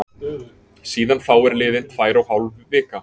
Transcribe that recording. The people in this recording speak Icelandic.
Síðan þá er liðin tvær og hálf vika.